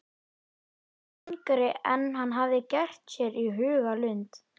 Hann var yngri en hann hafði gert sér í hugarlund.